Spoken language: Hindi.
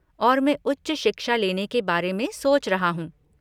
और मैं उच्च शिक्षा लेने के बारे में सोच रहा हूँ।